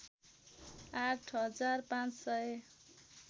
आठ हजार पाँच सय